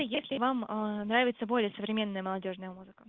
если вам аа нравится более современная молодёжная музыка